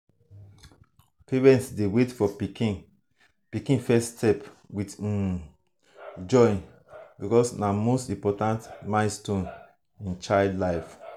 parents dey wait for pikin pikin first steps with um joy because na most important milestone in child life.